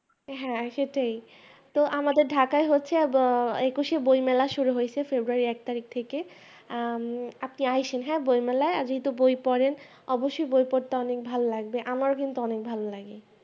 হ্যাঁ সেটাই তো আমাদের ঢাকা হচ্ছে আহ একুশে বইমেলা শুরু হয়েছে February এর এক তারিখ থেকে আহ আপনি আছেন বইমেলায় আপনি তো বই পড়েন অবশ্যই বই পড়তে অনেক ভালো লাগবে আমার কিন্তু অনেক ভালো লাগে